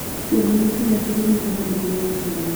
kĩongo ni kĩĩga kĩrĩ mĩkiha mĩingi ya thakame